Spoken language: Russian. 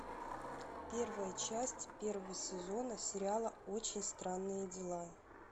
первая часть первого сезона сериала очень странные дела